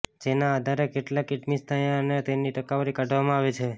જેના આધારે કેટલાક એડમિશન થયા અને તેની ટકાવારી કાઢવામાં આવે છે